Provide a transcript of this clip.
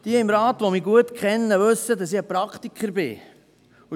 Jene im Rat, die mich gut kennen, wissen, dass ich ein Praktiker bin.